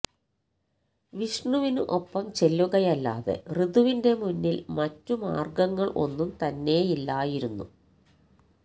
വിഷ്ണുവിനു ഒപ്പം ചെല്ലുകയല്ലാതെ ഋതുവിന്റെ മുന്നിൽ മറ്റു മാർഗങ്ങൾ ഒന്നും തന്നെയില്ലയിരുന്നു